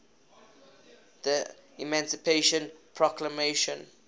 the emancipation proclamation